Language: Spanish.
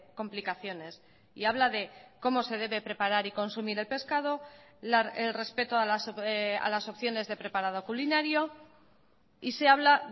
complicaciones y habla de cómo se debe preparar y consumir el pescado el respeto a las opciones de preparado culinario y se habla